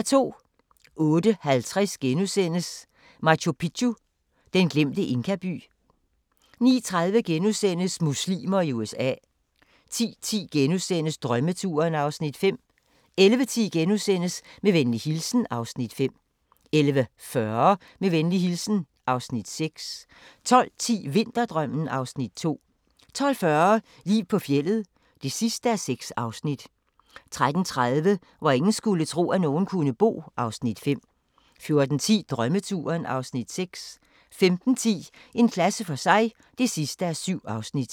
08:50: Machu Picchu: Den glemte inkaby * 09:30: Muslimer i USA * 10:10: Drømmeturen (Afs. 5)* 11:10: Med venlig hilsen (Afs. 5)* 11:40: Med venlig hilsen (Afs. 6) 12:10: Vinterdrømmen (Afs. 2) 12:40: Liv på fjeldet (6:6) 13:30: Hvor ingen skulle tro, at nogen kunne bo (Afs. 5) 14:10: Drømmeturen (Afs. 6) 15:10: En klasse for sig (7:7)